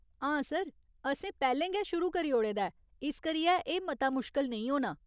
हां सर, असें पैह्‌लें गै शुरू करी ओड़े दा ऐ इस करियै एह् मता मुश्कल नेईं होना।